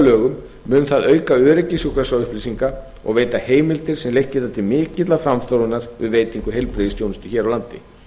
lögum mun það auka öryggi sjúkraskrárupplýsinga og veita heimild til þess sem leitt geta til mikillar framþróunar við veitingu heilbrigðisþjónustu hér á landi